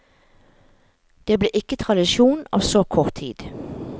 Det blir ikke tradisjon av så kort tid.